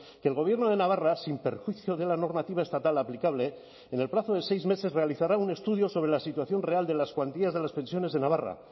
que el gobierno de navarra sin perjuicio de la normativa estatal aplicable en el plazo de seis meses realizará un estudio sobre la situación real de las cuantías de las pensiones de navarra